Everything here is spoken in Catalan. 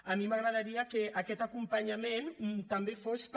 a mi m’agradaria que aquest acompanyament també fos per